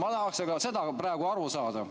Ma tahaksin seda praegu aru saada.